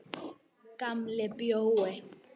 Gamla bíói.